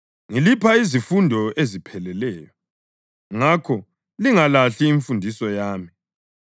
Ngilipha izifundo ezipheleleyo; ngakho lingalahli imfundiso yami.